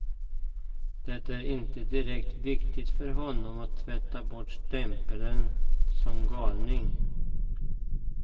Det är inte direkt viktigt för honom att tvätta bort stämpeln som galning.